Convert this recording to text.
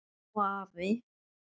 Amma og afi.